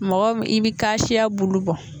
Mɔgɔ i bɛ kasiya bulu bɔ.